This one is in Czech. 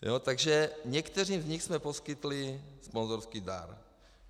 "Takže některým z nich jsme poskytli sponzorský dar.